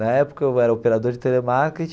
Na época eu era operador de telemarketing.